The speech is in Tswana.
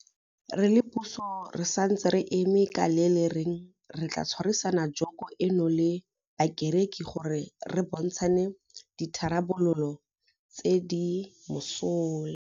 Re le puso re santse re eme ka le le reng re tla tshwarisana joko eno le bakereki gore re bontshane ditharabololo tse di mosola.